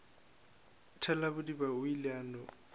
thalabodiba o ile a no